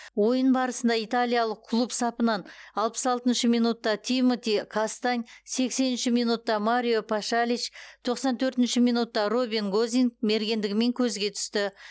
ойын барысында италиялық клуб сапынан алпыс алтыншы минутта тимоти кастань сексенінші минутта марио пашалич тоқсан төртінші минутта робин гозинг мергендігімен көзге түсті